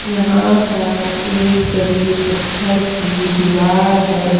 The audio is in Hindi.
यहां पर एक बड़ी पत्थर की दीवार है।